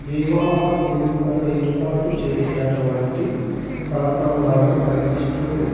వివాహ వేడుకను ఏర్పాటు చేసినటువంటి ప్రాంతంలాగా కనిపిస్తూ ఉంది.